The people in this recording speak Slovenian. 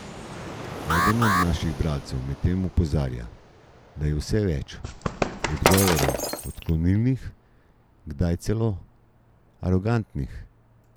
Eden od naših bralcev medtem opozarja, da je vse več odgovorov odklonilnih, kdaj celo arogantnih.